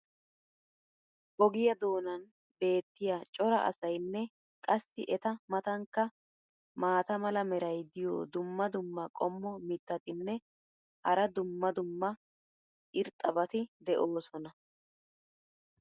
ogiyaa doonan beetiya cora asaynne qassi eta matankka maata mala meray diyo dumma dumma qommo mitattinne hara dumma dumma irxxabati de'oosona.